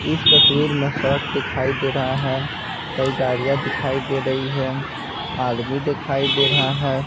इस तस्वीर में सड़क दिखाई दे रहा है कई गाड़ियाँ दिखाई दे रही हैं आदमी दिखाई दे रहा है।